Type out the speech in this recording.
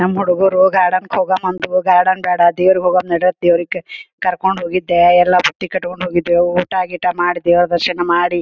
ನಮ್ಮ ಹುಡುಗೂರು ಗಾರ್ಡನ್ ಹೋಗೋಮ ಅಂದರ ಗಾರ್ಡನ್ ಬೇಡ ದೇವ್ರ್ ಹೋಗೋಣ ನಡ್ರಿ ಅಂದ ಕರ್ಕೊಂಡ್ ಹೋಗಿದ್ದೆ ಎಲ್ಲ ಬುತ್ತಿ ಕಟ್ಕೊಂಡ್ ಹೋಗಿದ್ದೆ ಊಟ ಗೀಟ ಮಾಡಿ ದೇವ್ರ ದರ್ಶನ ಮಾಡಿ --